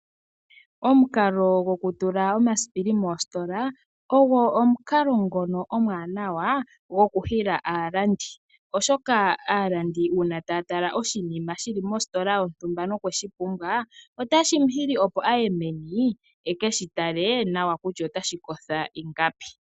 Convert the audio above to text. Omukalo gokutula omasipili moositola ogo omukalo ngono omuwanawa gokuhila aalandi, oshoka aalandi uuna taya tala oshinima shili mositola yontumba nokweshipumbwa otashi muhili opo aye meni ekeshi tale nawa kutya otashi kosho ingapi.